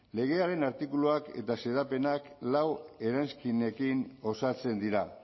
legearen artikuluak eta xedapenak lau eranskinekin osatzen dira